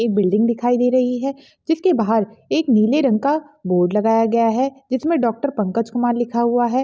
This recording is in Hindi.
एक बिल्डिंग दिखाई दे रही है जिसके बाहर एक नीले रंग का बोर्ड लगाया गया है जिसमें डॉक्टर पंकज कुमार लिखा गया है।